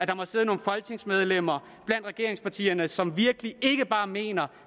der sidder nogle folketingsmedlemmer blandt regeringspartierne som virkelig ikke bare mener